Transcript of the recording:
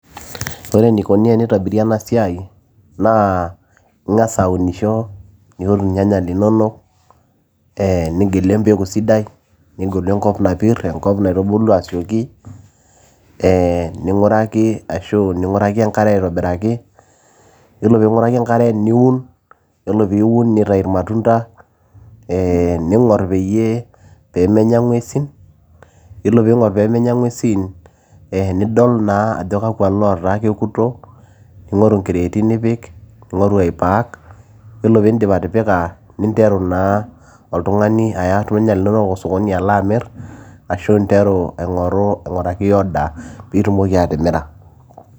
Ore eneikoni teneitobiri ena siai naa ingasa aunisho ,niun irnyanya linonok,e nigelu empeku sidai, nigelu enkop napir enkop naitubulu asioki ee ninguraki ashu ninguraki enkare aitobiraki, ninguraki enkare niun ,nitau irmarunda ee ,iyolo peinguraki enkare peebul nitau i ningor peyie pemenya ngwesi, ore peingor pemenya ngwesi ee nidol naa ajo kakwa oota kekuto ,ningoru nkreti nipik ningoru ai pack Ore peindim atipika neya oltungani neya osokoni alo amir ashu interu aingur ainguraki order peitumoki atimira.